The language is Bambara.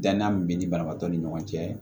Dannan min bɛ ni banabaatɔ ni ɲɔgɔn cɛ